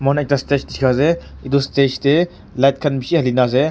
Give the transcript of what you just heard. stage dikhi ase etu stage teh light khan bishi hali nah ase.